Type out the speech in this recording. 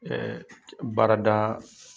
baarada